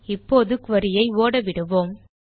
இப்போது குரி ஐ ஓடவிடுவோம்